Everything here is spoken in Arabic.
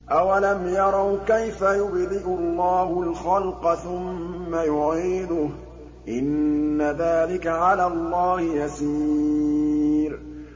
أَوَلَمْ يَرَوْا كَيْفَ يُبْدِئُ اللَّهُ الْخَلْقَ ثُمَّ يُعِيدُهُ ۚ إِنَّ ذَٰلِكَ عَلَى اللَّهِ يَسِيرٌ